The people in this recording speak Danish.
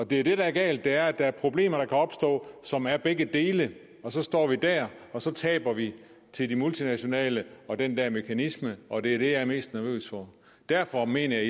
det der er galt er at der er problemer der kan opstå som er begge dele og så står vi dér og så taber vi til de multinationale og den der mekanisme og det er det jeg er mest nervøs for derfor mener jeg